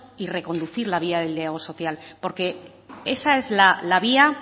y reconducir la vía del diálogo social porque esa es la vía